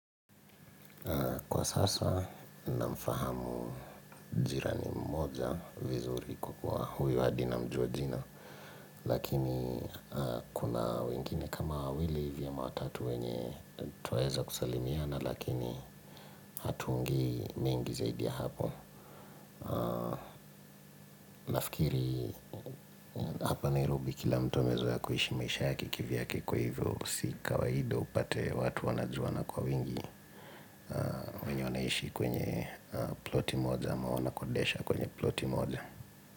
Kwa sasa na mfahamu jirani mmoja vizuri kwa kuwa huyu hadi namjua jina. Lakini kuna wengine kama wawili hivi ama watatu wenye twaweza kusalimiana lakini hatuongei mengi zaidi ya hapo. Nafikiri hapa nairobi kila mtu amezoea kuishi maisha yake kivyake kwa hivyo. Si kawaida upate watu wanajuana kwa wingi wenye wanaishi kwenye ploti moja ama wanakodisha kwenye ploti moja.